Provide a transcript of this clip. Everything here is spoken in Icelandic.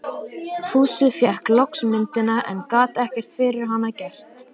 Fúsi fékk loks myndina, en gat ekkert fyrir hana gert.